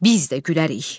Biz də gülərik.